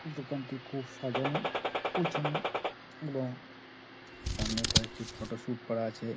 দোকানটি খুব সাজানো গুছানো এবং সামনে কয়েকটি ফটো শুট করা আছে ।